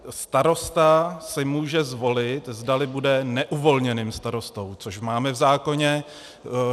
Starosta si může zvolit, zdali bude neuvolněným starostou, což máme v zákoně.